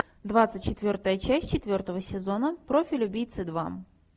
двадцать четвертая часть четвертого сезона профиль убийцы два